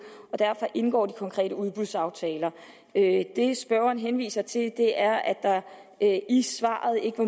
og derfor indgår de konkrete udbudsaftaler det spørgeren henviser til er at der i svaret ikke var